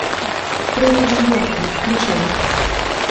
трое в нью йорке включай